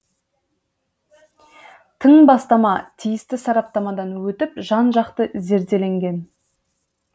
тың бастама тиісті сараптамадан өтіп жан жақты зерделенген